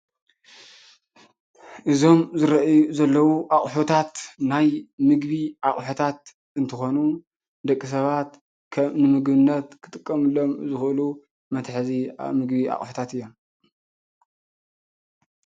እዞም ዝርኣይ ዘሎው ኣቁሑታት ናይ ምግቢ ኣቁሑታት እንትኾኑ ደቂ ሰባት ከም ንምግቢነት ክጥቀምሎም ዝኽእሉ መትሕዚ ምግቢ ኣቁሑታት እዩም።